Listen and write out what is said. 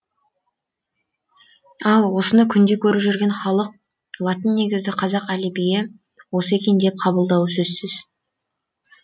ал осыны күнде көріп жүрген халық латыннегізді қазақ әлібиі осы екен деп қабылдауы сөзсіз